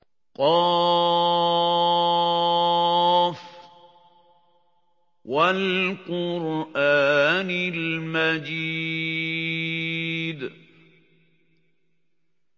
ق ۚ وَالْقُرْآنِ الْمَجِيدِ